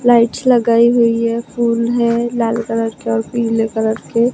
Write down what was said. Lights लगाई हुई है फूल है लाल कलर के और पिले कलर के।